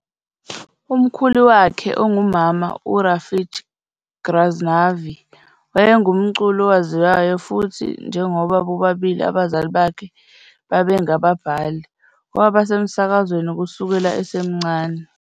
Umkhulu wakhe ongumama, uRafiq Ghaznavi, wayengumculi owaziwayo futhi njengoba bobabili abazali bakhe babengababhali, waba semsakazweni kusukela esemncane.